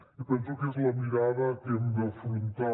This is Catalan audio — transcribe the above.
i penso que és la mirada que hem d’afrontar